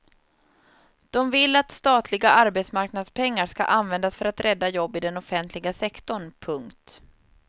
De vill att statliga arbetsmarknadspengar ska användas för att rädda jobb i den offentliga sektorn. punkt